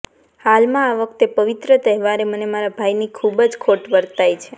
હાલમાં આ વખતે પવિત્ર તહેવારે મને મારા ભાઈની ખુબ જ ખોટ વર્તાય છે